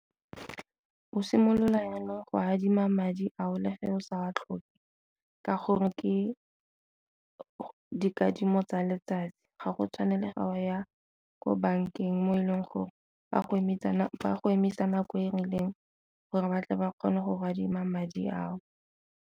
Go simolola jaanong go adima madi ao le fa o sa wa tlhoke ka gore ke dikadimo tsa letsatsi, ga go tshwane le ga go ya ko bankeng mo e leng gore ba go emisa go emisa nako e rileng gore batle ba kgone go go adima madi ao.